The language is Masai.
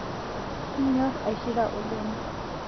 Inyor aishira oleng